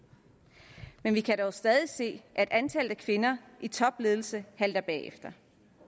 men vi kan dog stadig se at antallet af kvinder i topledelse halter bagefter